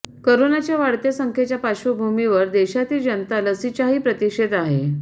करोनाच्या वाढत्या संख्येच्या पार्श्वभूमीवर देशातील जनता लसीच्याही प्रतीक्षेत आहे